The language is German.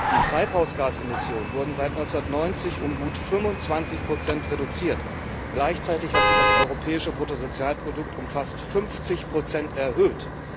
Die Treibhausgasemissionen wurden seit 1990 um gut 25 Prozent reduziert, gleichzeitig hat sich das europäische Bruttosozialprodukt um fast 50 Prozent erhöht.